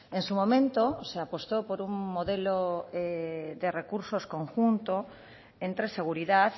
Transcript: en su momento se apostó por un modelo de recursos conjunto entre seguridad